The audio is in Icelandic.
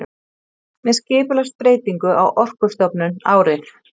Með skipulagsbreytingu á Orkustofnun árið